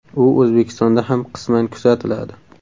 U O‘zbekistonda ham qisman kuzatiladi.